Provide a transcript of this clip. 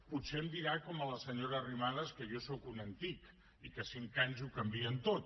potser em dirà com a la senyora arrimadas que jo sóc un antic i que cinc anys ho canvien tot